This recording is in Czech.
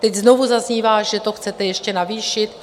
Teď znovu zaznívá, že to chcete ještě navýšit.